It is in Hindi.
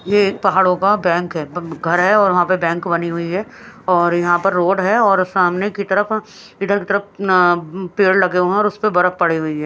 ये पहाड़ों का बैंक है घर है और वहां पे बैंक बनी हुई है और यहां पर रोड है और सामने की तरफ इधर की तरफ अह पेड़ लगे हुए हैं और उस पे बर्फ पड़ी हुई है।